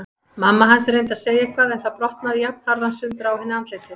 Mamma hans reyndi að segja eitthvað en það brotnaði jafnharðan sundur á henni andlitið.